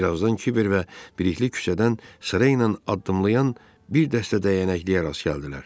Birazdan Kiber və Birlik küçədən sırayla addımlayan bir dəstə dəyənəkliyə rast gəldilər.